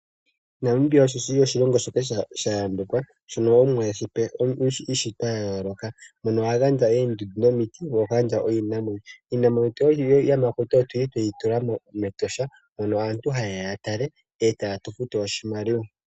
Namibia osho shili oshilongo shoka sha yambekwa shino omuwa eshi uushitwa wa yooloka mono agandja eendundu nomiti noshowo iinamwenyo. Iinamwenyo yiiyamakuti oyili tweyi tula me Etosha mono aantu haye ya ya tale etaye tu futu oshimaliwa.